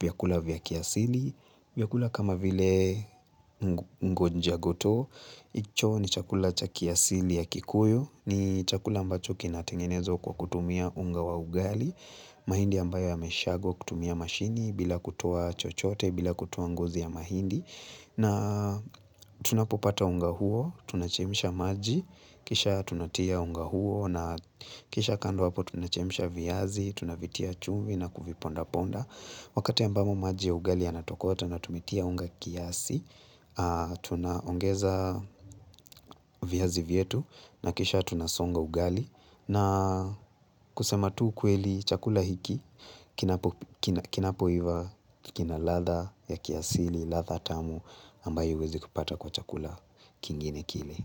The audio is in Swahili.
vyakula vya kiasili, vyakula kama vile ngonjia goto, hicho ni chakula cha kiasili ya kikuyu, ni chakula ambacho kinatengenezwa kwa kutumia unga wa ugali, mahindi ambayo ya meshagwa kutumia mashini bila kutoa chochote, bila kutoa ngozi ya mahindi. Na tunapopata unga huo, tunachemsha maji, kisha tunatia unga huo na kisha kando hapo tunachemsha viazi, tunavitia chumvi na kuviponda ponda wakati ambamo maji ya ugali yanatokota na tumetia unga kiasi tunaongeza viazi vyetu na kisha tunasonga ugali na kusema tu ukweli chakula hiki, kinapo iva kina ladha ya kiasili ladhatamu ambayo huwezi kupata kwa chakula kingine kile.